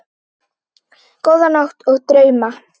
Góða nótt og drauma.